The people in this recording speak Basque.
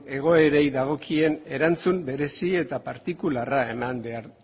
egoerei dagokien erantzun berezi eta partikularra eman